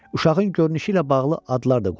Uşağın görünüşü ilə bağlı adlar da qoyulurdu.